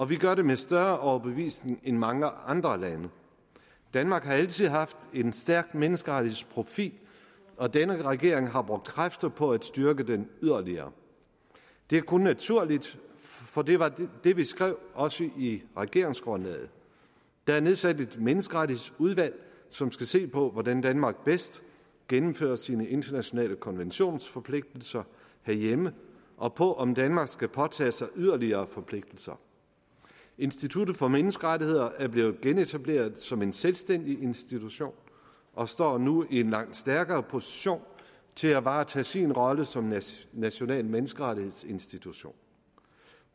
vi gør det med større overbevisning end mange andre lande danmark har altså haft en stærk menneskerettighedsprofil og denne regering har brugt kræfter på at styrke den yderligere det er kun naturligt for det var det vi skrev også i regeringsgrundlaget der er nedsat et menneskerettighedsudvalg som skal se på hvordan danmark bedst gennemfører sine internationale konventionsforpligtelser herhjemme og på om danmark skal påtage sig yderligere forpligtelser institut for menneskerettigheder er blevet genetableret som en selvstændig institution og står nu i en langt stærkere position til at varetage sin rolle som national menneskerettighedsinstitution